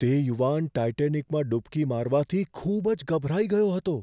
તે યુવાન ટાઈટેનિકમાં ડૂબકી મારવાથી ખૂબ જ ગભરાઈ ગયો હતો.